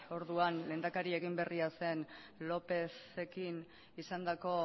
orduan lehendakari egin berria zen lópezekin izandako